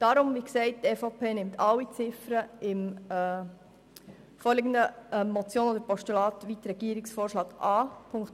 Die EVP-Fraktion nimmt also sämtliche Ziffern der vorliegenden Motion oder des Postulats, wie von der Regierung vorgeschlagen, an.